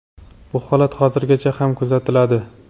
Bu holat hozirgacha ham kuzatiladi.